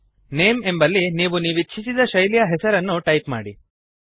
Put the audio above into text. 000525 000429 name ಎಂಬಲ್ಲಿ ನೀವು ನೀವಿಚ್ಛಿಸಿದ ಶೈಲಿಯ ಹೆಸರನ್ನು ಟೈಪ್ ಮಾಡಿ